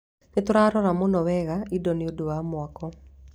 Nĩ tũroraga mũno wega indo nĩ ũndũ wa mwako